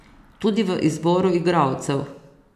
Tudi v izboru igralcev.